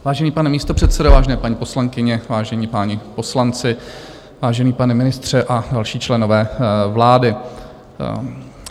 Vážený pane místopředsedo, vážené paní poslankyně, vážení páni poslanci, vážený pane ministře a další členové vlády.